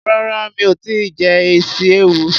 Rárá mi ò tíì jẹ isi ewu.